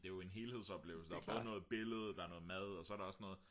det er jo en helhedsoplevelse der er både noget billede der er noget mad og så er der også noget